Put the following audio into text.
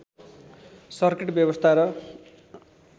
circuit व्यवस्था र